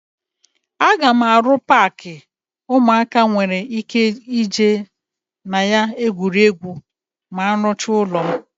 Aga m arụ paakị ụmụaka nwere ike ị jee na ya egwuri egwu ma m rụchaa ụlọ m.